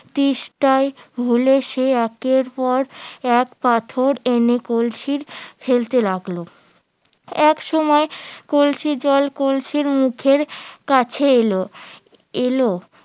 তেষ্টায় ভুলে সে একের পর এক পাথর এনে কলসি ফেলতে লাগলো এক সময় কলসির জল কলসির মুখের কাছে এলো এলো